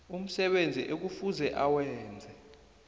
umsebenzi ekufuze awenze